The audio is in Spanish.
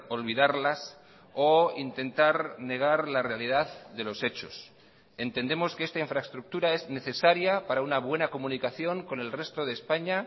olvidarlas o intentar negar la realidad de los hechos entendemos que esta infraestructura es necesaria para una buena comunicación con el resto de españa